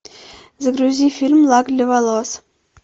загрузи фильм лак для волос